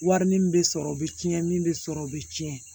Wari nin bɛ sɔrɔ u bɛ tiɲɛ min bɛ sɔrɔ o bɛ tiɲɛ